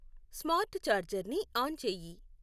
smart ఛార్జర్ని on చేయి